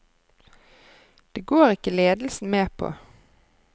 Det går ikke ledelsen med på.